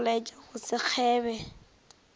go laetša go se kgebe